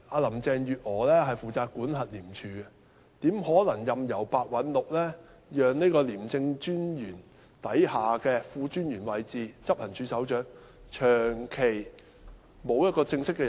林鄭月娥負責管轄廉政公署，她怎可能任由白韞六讓廉政專員下的副專員位置，即執行處首長，長期沒有人正式擔任？